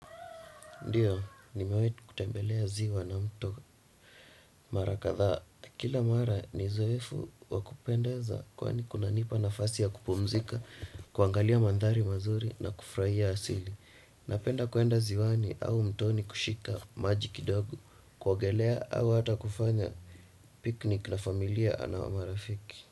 Ndiyo, nimewai kutembelea ziwa na mto mara kadhaa. Kila mara ni zoefu wa kupendeza kwani kunanipa nafasi ya kupumzika, kuangalia mandhari mazuri na kufuraia asili. Napenda kuenda ziwani au mtoni kushika maji kidogo, kuagelea au hata kufanya piknik na familia au na marafiki.